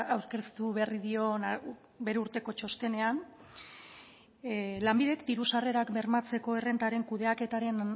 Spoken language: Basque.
aurkeztu berri dion bere urteko txostenean lanbidek diru sarrerak bermatzeko errentaren kudeaketaren